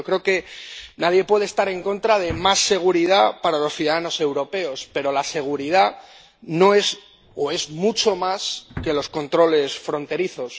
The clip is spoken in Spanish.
Yo creo que nadie puede estar en contra de más seguridad para los ciudadanos europeos, pero la seguridad no es solo —o es mucho más que— los controles fronterizos.